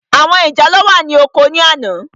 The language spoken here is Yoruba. Àwọn ìjàlọ́ wà ní oko ní àná.